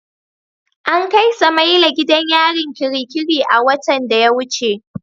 An kai Samaila gidan yarin kirikiri a watan da ya wuce.